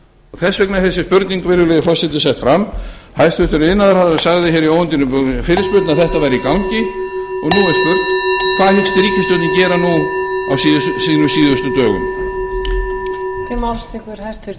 þess vegna er þessi spurning virðulegi forseti sett fram hæstvirtur iðnaðarráðherra sagði hér í óundirbúinni fyrirspurn að þetta væri í gangi og nú er spurt hvað hyggst ríkisstjórnin gera nú á sínum síðustu dögum